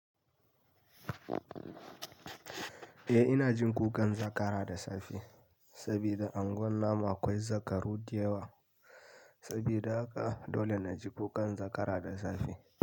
Eh ina jin kukan zakara da safe saboda unguwar namu akwai zakaru da yawa sabida haka dole na ji kukan zakara da safe.